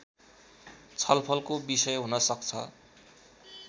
छलफलको विषय हुन सक्छ